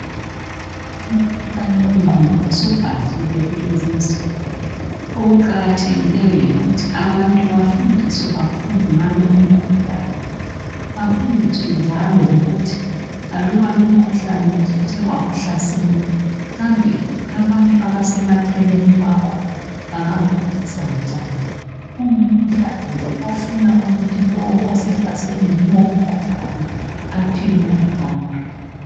Umkhuhlane wengqondo usubhahile kulezi insuku okuqakathekileyo yikuthi abantu bafundiswe kakhulu ngalo umkhuhlane. Bafundiswe njalo lokuthi aluba lomkhuhlane usuthe wakuhlasela, kambe abantu abasemaceleni kwakho bangakuphathisa njani. Ungumkhuhlane nje ofuna ukuthi lowo osehlaselwe yilomkhuhlane aphiwe uthando.